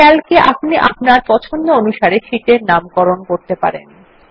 Calc এ আপনি আপনার পছন্দ অনুসারে শীট এর নাম পরিবর্তন করতে পারেন